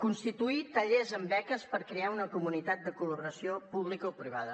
constituir tallers amb beques per crear una comunitat de col·laboració publicoprivada